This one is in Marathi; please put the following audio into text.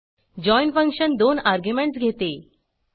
जॉइन फंक्शन दोन अर्ग्युमेंटस घेते